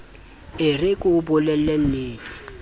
e re ke o bolellennete